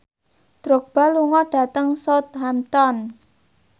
Drogba lunga dhateng Southampton